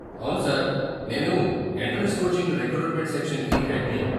అవును సార్, నేను entrance coaching recruitment సెక్షన్‌కి హెడ్ని.